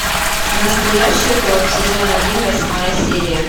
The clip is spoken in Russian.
настоящая кровь сезон один восьмая серия